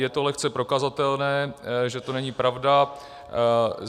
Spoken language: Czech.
Je to lehce prokazatelné, že to není pravda.